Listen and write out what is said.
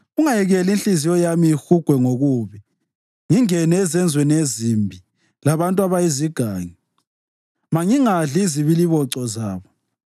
Ungayekeli inhliziyo yami ihugwe ngokubi, ngingene ezenzweni ezimbi labantu abayizigangi; mangingadli izibiliboco zabo.